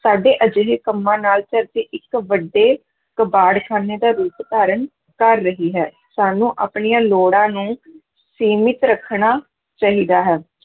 ਸਾਡੇ ਅਜਿਹੇ ਕੰਮਾਂ ਨਾਲ ਧਰਤੀ ਇੱਕ ਵੱਡੇ ਕਬਾੜਖਾਨੇ ਦਾ ਰੂਪ ਧਾਰਨ ਕਰ ਰਹੀ ਹੈ, ਸਾਨੂੰ ਆਪਣੀਆਂ ਲੋੜਾਂ ਨੂੰ ਸੀਮਿਤ ਰੱਖਣਾ ਚਾਹੀਦਾ ਹੈ।